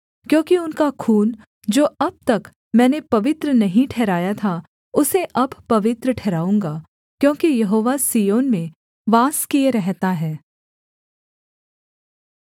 क्योंकि उनका खून जो अब तक मैंने पवित्र नहीं ठहराया था उसे अब पवित्र ठहराऊँगा क्योंकि यहोवा सिय्योन में वास किए रहता है